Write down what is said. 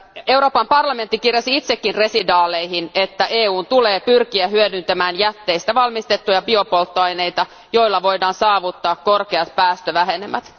Euroopan parlamentti kirjasi itsekin residaaleihin, että EUn tulee pyrkiä hyödyntämään jätteistä valmistettuja biopolttoaineita, joilla voidaan saavuttaa korkeat päästövähenemät.